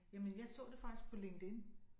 Jamen jeg så det faktisk på LinkedIn